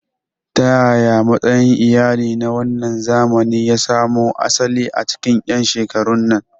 Ta yaya matsayin iyali na wannan zamani ya samo asali a cikin 'yan shekarun nan?